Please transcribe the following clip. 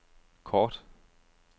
kort